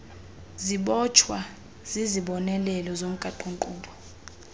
zibotshwa zizibonelelo zomgaqonkqubo